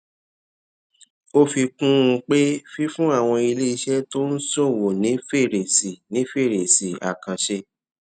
ó fi kún un pé fífún àwọn iléeṣẹ tó ń ṣòwò ní fèrèsì ní fèrèsì àkànṣe